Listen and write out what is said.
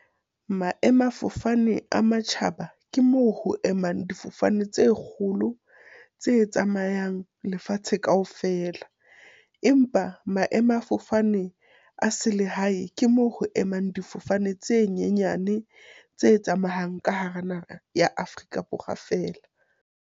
Maemafofane a matjhaba ke moo ho emang difofane tse kgolo tse tsamayang lefatshe kaofela. Empa maemafofane a selehae, ke moo ho emang difofane tse nyenyane tse tsamayang ka hara naha ya Afrika Borwa feela.